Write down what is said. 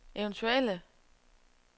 eventuelle